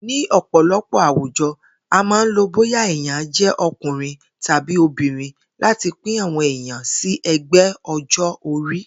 Ní ò̩pò̩lo̩pò̩ àwùjo̩, a máa ń lo bóyà èèyàn jé̩ o̩kùnrin tàbí obìnrin láti pín àwo̩n èèyàn sí e̩gbé̩ o̩jó̩-orí